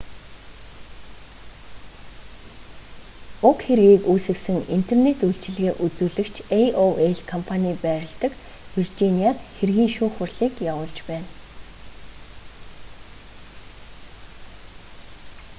уг хэргийг үүсгэсэн интернет үйлчилгээ үзүүлэгч aol компаний байрладаг виржиниад хэргийн шүүх хурлыг явуулж байна